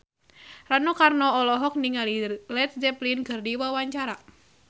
Rano Karno olohok ningali Led Zeppelin keur diwawancara